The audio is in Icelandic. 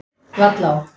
Vallá